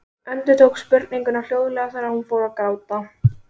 Endurtók spurninguna hljóðlega þegar hún fór að gráta.